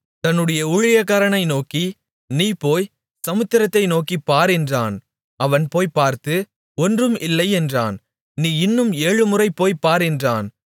தன்னுடைய ஊழியக்காரனை நோக்கி நீ போய் சமுத்திரத்தை நோக்கிப் பார் என்றான் அவன் போய்ப் பார்த்து ஒன்றும் இல்லை என்றான் நீ இன்னும் ஏழுமுறை போய்ப் பார் என்றான்